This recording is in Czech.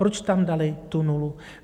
Proč tam dali tu nulu?